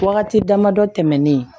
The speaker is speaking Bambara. Wagati damadɔ tɛmɛnen